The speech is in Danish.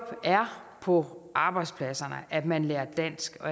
på arbejdspladserne at man lærer dansk og